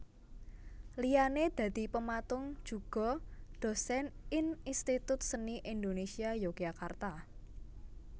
Liyane dadi pematung juga dosen ing Institut Seni Indonésia Yogyakarta